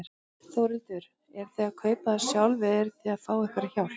Þórhildur: Eruð þið að kaupa það sjálfur eða eruð þið að fá einhverja hjálp?